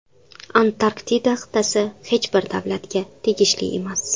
Antarktida qit’asi hech bir davlatga tegishli emas.